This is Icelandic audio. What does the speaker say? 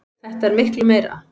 Þetta er miklu meira.